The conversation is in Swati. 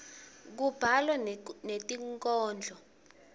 kubhalwa netinkhondlo